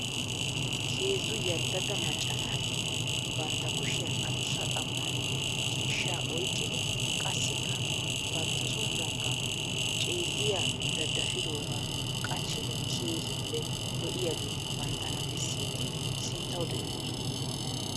Heezzu yalddada macca naati bantta kushshiyan adussa xam'aanne ciishshaa oyqqidi qassikka bantta som'uwankka celliya dadfidoogaa qachchidi keehiippe lo'iyaageeti banttana beessidi sinttawu xeelloosona.